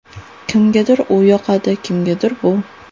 Kimgadir u yoqadi, kimgadir bu.